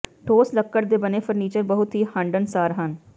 ਠੋਸ ਲੱਕੜ ਦੇ ਬਣੇ ਫਰਨੀਚਰ ਬਹੁਤ ਹੀ ਹੰਢਣਸਾਰ ਹਨ